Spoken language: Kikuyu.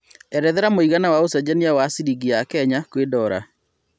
erethera mũigana wa ũcenjanĩa wa cĩrĩngĩ ya Kenya kwĩ dola